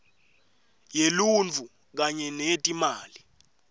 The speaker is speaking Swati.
yeluntfu kanye neyetimali